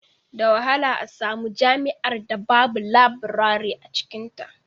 Da wahala a samu jami'ar da babu labirare a cikinta